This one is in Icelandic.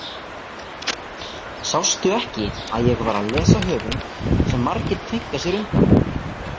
Sástu ekki að ég var að lesa höfund sem margir kveinka sér undan?